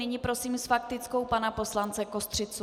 Nyní prosím s faktickou pana poslance Kostřicu.